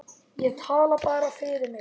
Ég tala bara fyrir mig.